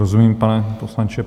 Rozumím, pane poslanče.